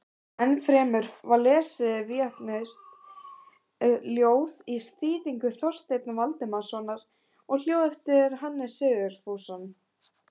Ennfremur var lesið víetnamskt ljóð í þýðingu Þorsteins Valdimarssonar og ljóð eftir Hannes Sigfússon.